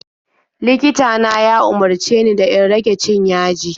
Likita na ya umarce ni da in rage cin yaji.